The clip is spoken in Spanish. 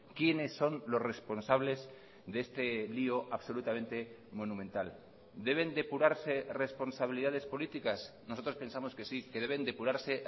quiénes son los responsables de este lío absolutamente monumental deben depurarse responsabilidades políticas nosotros pensamos que sí que deben depurarse